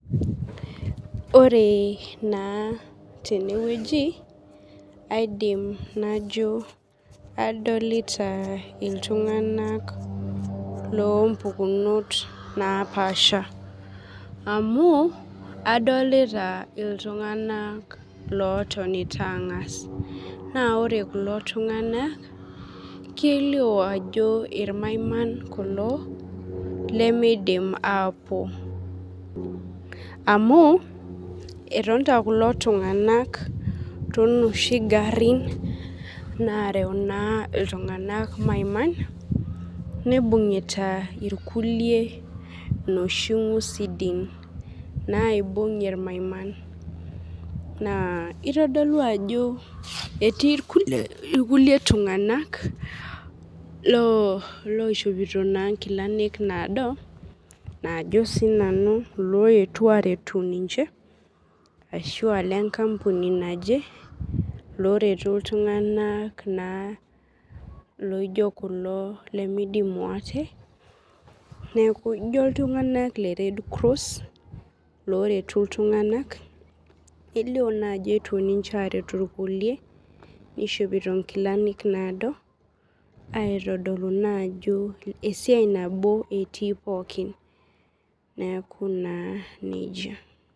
Ore na tenewueji aidim najo adolita ltunganak lompukinot napaasha amu adolta ltunganak otonita angas na ore kulo tunganak kelio ajo irmaiman kulo lemeidim ashom amu etonita kulo tunganak tonoshi garin narew ltunganak maiman neibungita irkulie noshi ngusidin naibung irmaiman naabitadolu ajo looishopito nkilani naado najo sinanu loetuo aret ninche ajo nanuloretu ltunganak lemidimu ate neaku ijo ltunganak le redcross loretu ltunganak kelio na ajo eetuo ninche aretu irkulie nishopito nkilani naado aitodolu ajo esiai nabo etii pookin neaku na nejia.